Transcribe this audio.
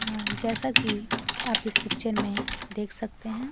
अ जैसा की आप इस पिक्चर में देख सकते हैं।